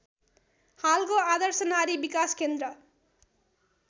हालको आदर्श नारी विकास केन्द्र